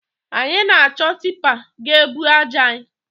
Anyi na-achọ tipa ga-ebu aja anyị